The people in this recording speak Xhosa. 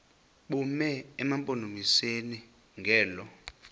bume emampondomiseni ngelo